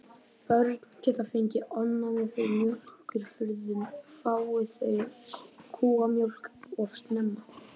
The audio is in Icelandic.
Börn geta fengið ofnæmi fyrir mjólkurafurðum fái þau kúamjólk of snemma.